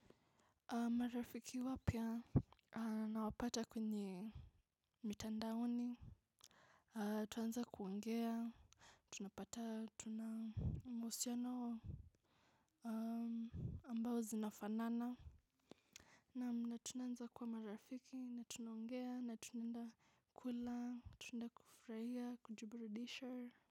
Marafiki wapya na wapata kwenye mitandaoni. Tuanza kuongea, tunapata, tunamosyano ambao zinafanaana. Na tunanza kuwa marafiki, na tunaongea, na tunaenda kula, tunaenda kufurahia, kujiburidisha.